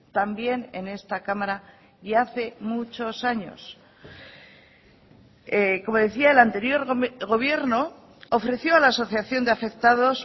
también en esta cámara y hace muchos años como decía el anterior gobierno ofreció a la asociación de afectados